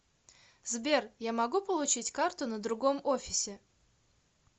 сбер я могу получить карту на другом офисе